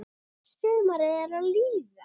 Sumarið er að líða.